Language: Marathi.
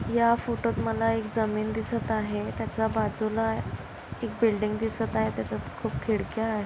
या फोटो त मला जमीन दिसत आहे त्याचा बाजूला एक बिल्डिंग दिसत आहे त्याच्यात खूप खिडक्या आहे.